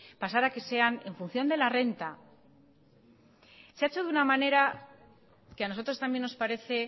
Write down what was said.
pasar a que sean en función de la renta se ha hecho de una manera que a nosotros también nos parece